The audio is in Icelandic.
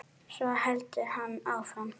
Svo heldur hann áfram